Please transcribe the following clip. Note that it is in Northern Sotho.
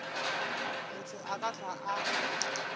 motho a ka hlwa a